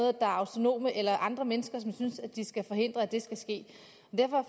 er autonome eller andre mennesker som synes at de skal forhindre at det skal ske derfor